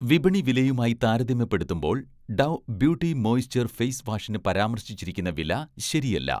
വിപണി വിലയുമായി താരതമ്യപ്പെടുത്തുമ്പോൾ 'ഡവ്' ബ്യൂട്ടി മോയിസ്ചർ ഫെയ്സ് വാഷിന് പരാമർശിച്ചിരിക്കുന്ന വില ശരിയല്ല.